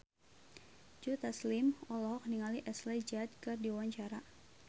Joe Taslim olohok ningali Ashley Judd keur diwawancara